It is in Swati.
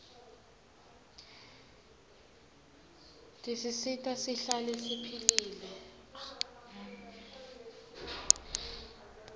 tisisita sihlale siphilile